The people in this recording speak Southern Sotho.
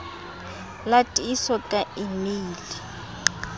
la tiiso ka e meile